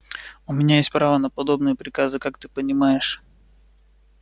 у меня есть право на подобные приказы как ты понимаешь